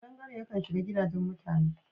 Ƙadangaren yakan shiga gadaje mutane..